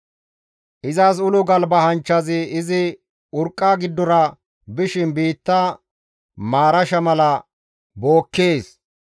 Izas ulo galba hanchchazi izi urqqa giddora bishin biitta maarasha mala bookkees.